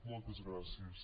moltes gràcies